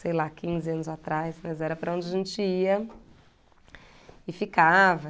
sei lá, quinze anos atrás, mas era para onde a gente ia e ficava.